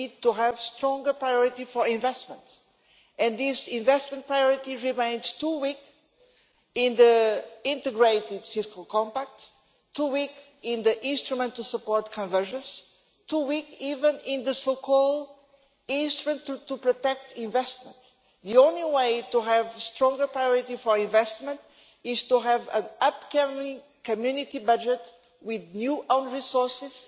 we need to have a stronger priority for investment, and this investment priority remains too weak in the integrated Fiscal Compact, too weak in the instrument to support convergence, too weak even in the so called instrument to protect investment. The only way to have stronger priority for investment is to have an upcoming Community budget with new own resources